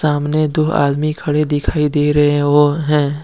सामने दो आदमी खड़े दिखाई दे रहे है।